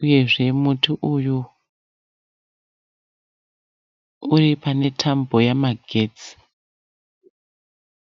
uyezve muti uyu uri pane tambo yemagetsi.